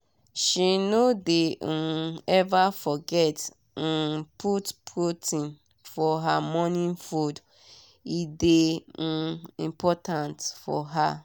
she no dey um ever forget um put protein for her morning foode dey um important for her.